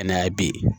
Ka na ye bi